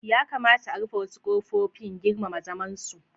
Ya kamata a rufe wasu kofofin; girmama zamansu.